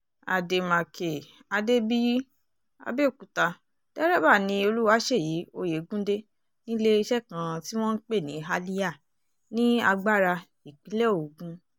àdèmàkè adébíyì abẹ́òkúta dérèbà ni olùwáṣẹ́yí oyegundé níléeṣẹ́ kan tí wọ́n ń pè ní halya ní agbára ìpínlẹ̀ ogun